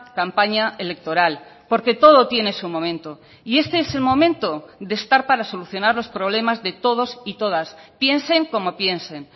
campaña electoral porque todo tiene su momento y este es el momento de estar para solucionar los problemas de todos y todas piensen como piensen